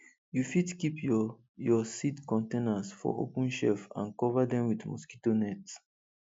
you fit keep your your seed containers for open shelf and cover dem with mosquito net